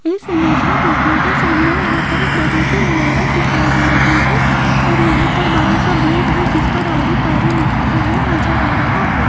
इस इमेज मे देखियेगा सामने यहां पर एक बड़ी सी इमारत दिखाई दे रही है और यहां पर बड़ा सा बोर्ड है जिसपर आरी तारी लिखा हुआ नज़र आ रहा है।